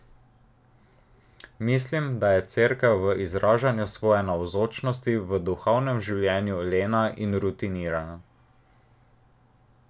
Mislim, da je cerkev v izražanju svoje navzočnosti v duhovnem življenju lena in rutinirana.